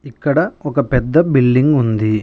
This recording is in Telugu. ఇక్కడ ఒక పెద్ద బిల్డింగ్ ఉంది.